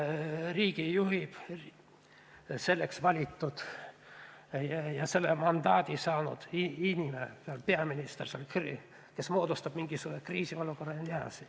Riiki juhib ikka selleks valitud ja mandaadi saanud inimene, see on peaminister.